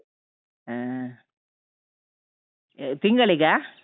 ಹ ಅಹ್ ತಿಂಗಳಿಗಾ?